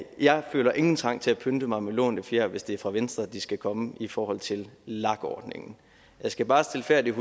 jeg føler ingen trang til at pynte mig med lånte fjer hvis det er fra venstre de skal komme i forhold til lag ordningen jeg skal bare stilfærdigt